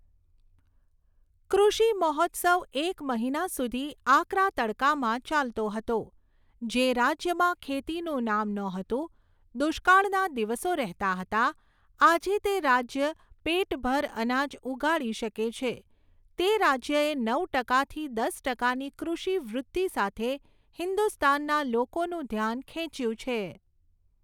કૃષિ મહોત્સવ એક મહિના સુધી આકરા તડકામાં ચાલતો હતો, જે રાજ્યમાં ખેતીનું નામ નહોતું, દુષ્કાળના દિવસો રહેતા હતા, આજે તે રાજ્ય પેટભર અનાજ ઉગાડી શકે છે, તે રાજ્યએ નવ ટકાથી દસ ટકાની કૃષિ વૃદ્ધિ સાથે હિંદુસ્તાનના લોકોનું ધ્યાન ખેંચ્યું છે.